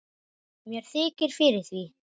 Mér þykir fyrir því.